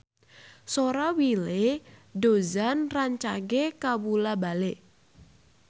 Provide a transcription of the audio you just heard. Sora Willy Dozan rancage kabula-bale